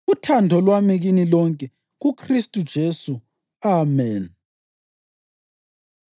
Uthando lwami kini lonke kuKhristu uJesu. Ameni.